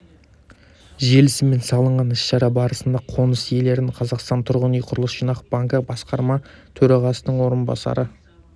желісімен салынған іс-шара барысында қоныс иелерін қазақстан тұрғын үй құрылыс жинақ банкі басқарма төрағасының орынбасары